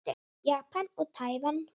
Japan og Tævan.